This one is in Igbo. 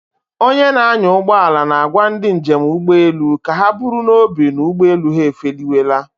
Onye na-anya ụgbọala na-agwa ndị njem ụgbọelu ka ha buru n'obi na ụgbọelu ha efeliwela.